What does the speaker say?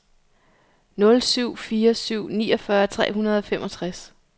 nul syv fire syv niogfyrre tre hundrede og femogtres